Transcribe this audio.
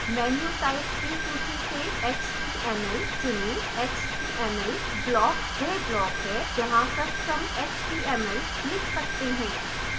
menu types की सूची से html चुनें html block वह block है जहाँ कस्टम html लिख सकते हैं